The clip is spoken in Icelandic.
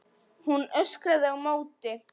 Hún öskrar á móti.